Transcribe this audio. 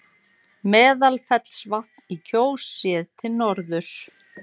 Úrkoma sem fellur á Hallmundarhraun rennur því tiltölulega grunnt undir hrauninu á þéttum jarðlögum.